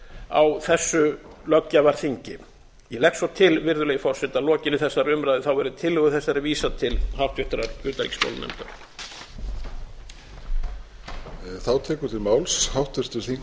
á þessu löggjafarþingi ég legg svo til virðulegi forseti að að lokinni þessari umræðu verði tillögu þessari vísað til háttvirtrar utanríkismálanefndar